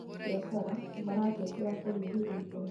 Abiacara maratetera kũnyihĩrio igoti